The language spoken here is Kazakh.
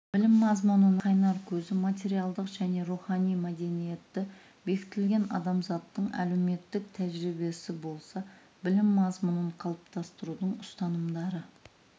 білім мазмұнының қайнар көзі материалдық және рухани мәдениетте бекітілген адамзаттың әлеуметтік тәжірибесі болса білім мазмұнын қалыптастырудың ұстанымдары